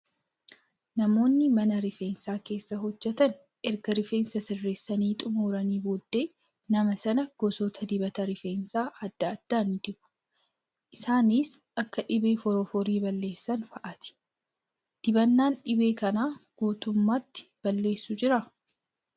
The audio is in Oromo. Namoonni mana rifeensaa keessa hojjatan erga rifeensa sirreessanii xumuranii booddee nama sana gosoota dibata rifeensaa adda addaa ni dibu. Isaanis kan dhibee forforrii balleessan fa'aati. Dibannaan dhibee kana guutummaatti balleessu jiraa?